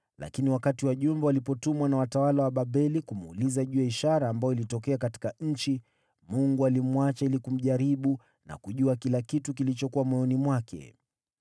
Lakini wakati wajumbe walipotumwa na watawala wa Babeli kumuuliza juu ya ishara ambayo ilitokea katika nchi, Mungu alimwacha ili kumjaribu na kujua kila kitu kilichokuwa moyoni mwake.